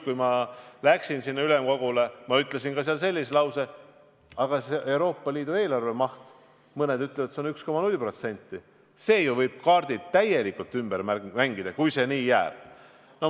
Kui ma ülemkogule läksin, siis ütlesin ka seal sellise lause, et aga Euroopa Liidu eelarve maht, mõned ütlevad, et see on 1,0%, ja see võib ju kaardid täielikult ümber mängida, kui see nii jääb.